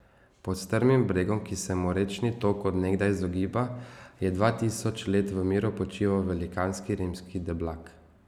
Pod strmim bregom, ki se mu rečni tok od nekdaj izogiba, je dva tisoč let v miru počival velikanski rimski deblak.